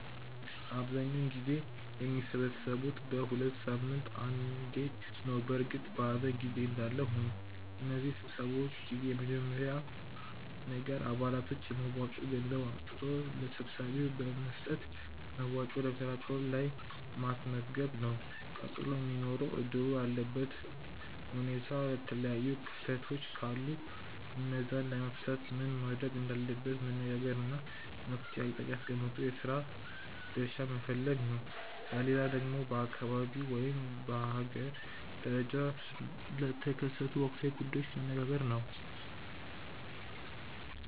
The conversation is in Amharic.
በአብዛኛውን ጊዜ የሚሰበሰቡት በ ሁለት ሳምንት አንዴ ነው በእርግጥ በኀዘን ጊዜ እንዳለ ሆኖ። በነዚህ ስብሰባዎች ጊዜ የመጀመርያው ነገር አባላቶች የመዋጮ ገንዘብ አምጥተው ለሰብሳቢው በመስጠት በመዋጮ ደብተራቸው ላይ ማስመዝገብ ነው። ቀጥሎ የሚኖረው እድሩ ያለበትን ሁኔታና የተለያዩ ክፍተቶች ካሉ እነዛን ለመፍታት ምን መደረግ እንዳለበት መነጋገር እና የመፍትሔ አቅጣጫዎችን አስቀምጦ የስራ ድርሻ መከፋፈል ነው። ሌላው ደግሞ በአካባቢው ወይም በሀገር ደረጃ ስለተከሰቱ ወቅታዊ ጉዳዮች መነጋገር ነው።